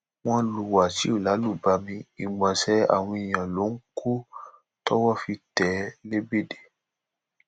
wọn lu wáṣíù lálùbami ìgbọnsẹ àwọn èèyàn ló ń kọ tọwọ fi tẹ é lébédè